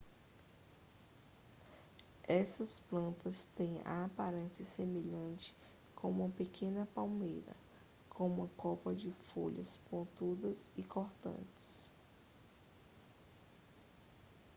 essas plantas têm a aparência semelhante com uma pequena palmeira com uma copa de folhas pontudas e cortantes